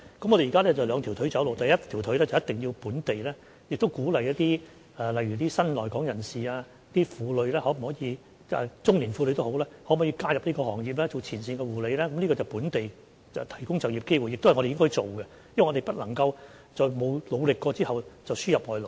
我們現在是兩條腿走路，第一條腿是一定要鼓勵新來港人士、婦女或中年婦女，加入這個行業當前線護理人員，這是在本地提供就業機會，亦都是我們應該做的，因為我們不能夠在沒有努力過之下輸入外勞。